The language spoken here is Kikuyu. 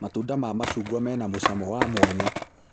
Matunda ma macungwa mena mũcamo wa mwanya